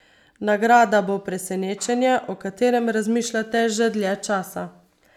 Nagrada bo presenečenje, o katerem razmišljate že dlje časa.